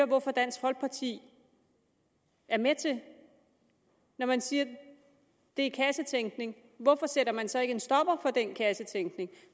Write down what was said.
hvorfor dansk folkeparti er med til når man siger at det er kassetænkning hvorfor sætter man så ikke en stopper for den kassetænkning